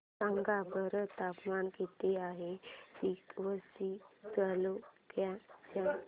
सांगा बरं तापमान किती आहे तिवसा तालुक्या चे